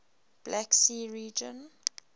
black sea region